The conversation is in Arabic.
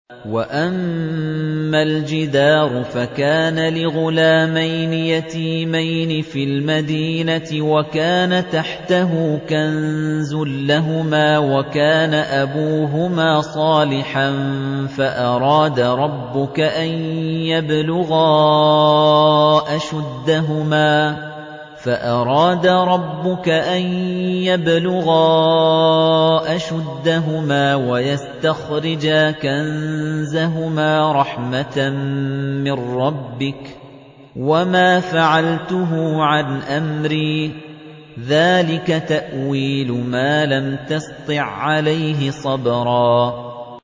وَأَمَّا الْجِدَارُ فَكَانَ لِغُلَامَيْنِ يَتِيمَيْنِ فِي الْمَدِينَةِ وَكَانَ تَحْتَهُ كَنزٌ لَّهُمَا وَكَانَ أَبُوهُمَا صَالِحًا فَأَرَادَ رَبُّكَ أَن يَبْلُغَا أَشُدَّهُمَا وَيَسْتَخْرِجَا كَنزَهُمَا رَحْمَةً مِّن رَّبِّكَ ۚ وَمَا فَعَلْتُهُ عَنْ أَمْرِي ۚ ذَٰلِكَ تَأْوِيلُ مَا لَمْ تَسْطِع عَّلَيْهِ صَبْرًا